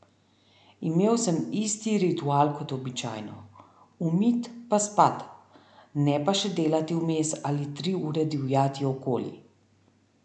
Imel sem isti ritual kot običajno: "umit pa spat", ne pa še delati vmes ali tri ure divjati okoli.